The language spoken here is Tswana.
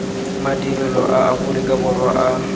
madirelo a aforika borwa a